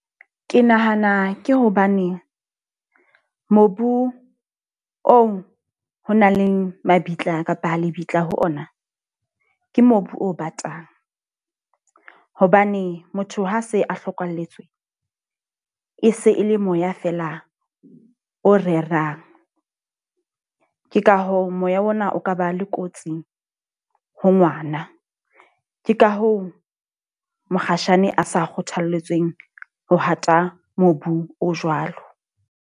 Ke nahana ke hobane mobu oo ho nang le mabitla kapa ho lebitla ho ona, ke mobu o batang. Hobane motho ha se a hlokalletswe, e se e le moya fela o rerang. Ke ka hoo, moya ona o ka ba le kotsi ho ngwana. Ke ka hoo mokgatjhane a sa kgothalletseng ho hata mobung o jwalo.